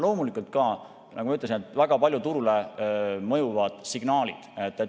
Loomulikult ka, nagu ma ütlesin, väga palju mõjuvad turule signaalid.